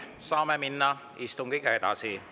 Saame minna istungiga edasi.